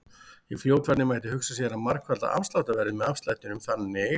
Í fljótfærni mætti hugsa sér að margfalda afsláttarverðið með afslættinum þannig: